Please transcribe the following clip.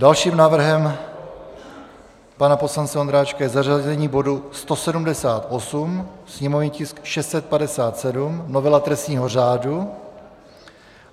Dalším návrhem pana poslance Ondráčka je zařazení bodu 178, sněmovní tisk 657, novela trestního řádu.